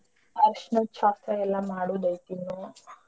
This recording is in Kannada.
ಅರ್ಶಣದ್ ಶಾಸ್ತ್ರ ಎಲ್ಲಾ ಮಾಡೋದೈತ್ ಇನ್ನೂ.